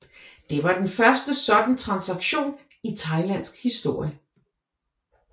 Det var den første sådan transaktion i thailandsk historie